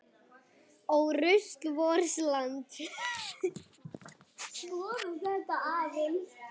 Ó rusl vors lands.